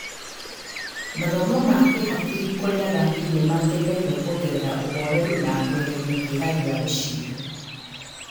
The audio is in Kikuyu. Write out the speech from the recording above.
Mathomo ma kĩhakiri kũrĩ athaki nĩ mateithagia kuongerera ũhoreru na kũeheria kĩeha gĩa gũcindwo.